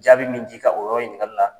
Jaabi min di ka o yɔrɔ ɲininkali la.